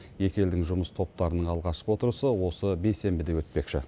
екі елдің жұмыс топтарының алғашқы отырысы осы бейсенбіде өтпекші